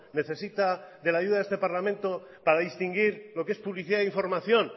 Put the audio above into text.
necesita de la ayuda de este parlamento para distinguir lo que es publicidad e información